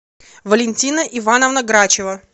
валентина ивановна грачева